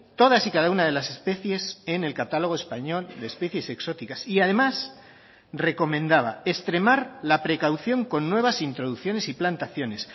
todas y cada una de las especies en el catálogo español de especies exóticas y además recomendaba extremar la precaución con nuevas introducciones y plantaciones